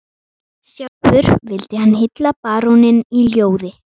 Sjálfur vildi hann hylla baróninn í ljóði